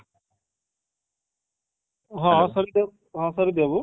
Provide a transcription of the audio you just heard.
ହଁ ହଁ ସରୋଜ ବାବୁ